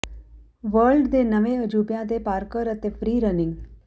world ਦੇ ਨਵੇਂ ਅਜੂਬਿਆਂ ਤੇ ਪਾਰਕੌਰ ਅਤੇ ਫ੍ਰੀ ਰਨਿੰਗ